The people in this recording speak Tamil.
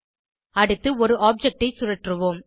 அடுத்து ஒரு ஆப்ஜெக்ட் ஐ சுழற்றுவோம்